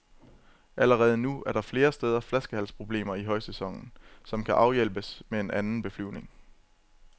Allerede nu er der flere steder flaskehalsproblemer i højsæsonen, som kan afhjælpes med en anden beflyvning.